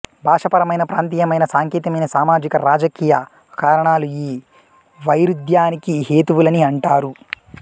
భాషాపరమైన ప్రాంతీయమైన సాంకేతికమైన సామాజిక రాజకీయ కారణాలు ఈ వైరుధ్యానికి హేతువులని అంటారు